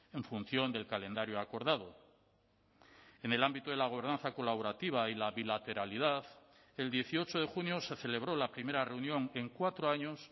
en función del calendario acordado en el ámbito de la gobernanza colaborativa y la bilateralidad el dieciocho de junio se celebró la primera reunión en cuatro años